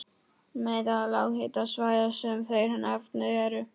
Meðal lághitasvæða sem þeir nefna eru